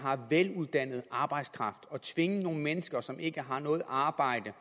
har veluddannet arbejdskraft at tvinge nogle mennesker som ikke har noget arbejde